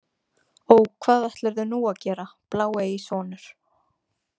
Ó, hvað ætlarðu nú að gera, bláeygi sonur?